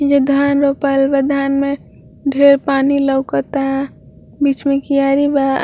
ये धान रोपायल बा धान में ढेर पानी लौकता बिच में कियारी बा।